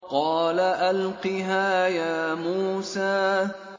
قَالَ أَلْقِهَا يَا مُوسَىٰ